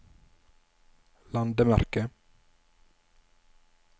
landemerke